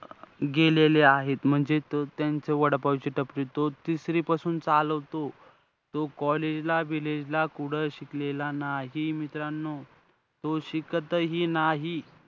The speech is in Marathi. गेलेले आहेत. म्हणजे तो त्यांचा वडापावची टपरी तोच तिसरीपासून चालवतो. तो college ला बिलेजला कुठचं शिकलेला नाही. मित्रांनो, तो शिकतही नाही.